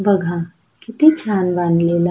बघा किती छान बांधलेल--